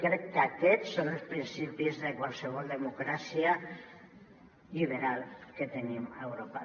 crec que aquests són els principis de qualsevol democràcia liberal que tenim a europa